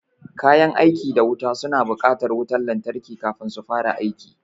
Kayan aiki da wuta suna buƙatar wutan lantarki kafin su fara aiki